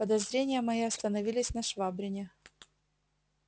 подозрения мои остановились на швабрине